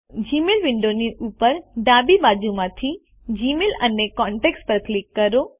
Gmail વિન્ડોની ઉપર ડાબી બાજુમાંથી જીમેઇલ અને કોન્ટેક્ટ્સ પર ક્લિક કરો